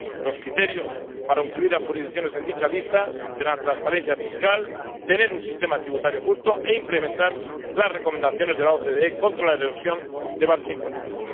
Los criterios para incluir a jurisdicciones en dicha lista serán transparencia fiscal, tener un sistema tributario justo e implementar las recomendaciones de la OCDE contra la erosión de bases imponibles.